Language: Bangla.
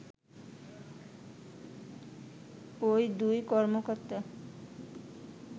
ওই দুই কর্মকর্তা